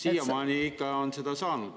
Siiamaani on seda ikka saanud.